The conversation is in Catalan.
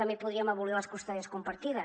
també podríem abolir les custòdies compartides